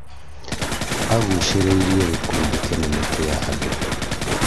agucĩrĩirie gĩkundi kĩnene kĩa andũ